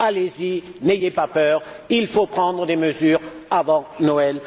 Allez y, n'ayez pas peur, il faut prendre des mesures avant Noël.